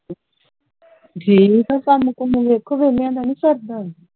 ਠੀਕ ਆ ਕੰਮ ਕੁਮ ਦੇਖੋ ਵਿਹਲੀਆਂ ਦਾ ਨਹੀਂ ਸਰਦਾ